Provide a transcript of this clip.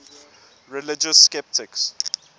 religious skeptics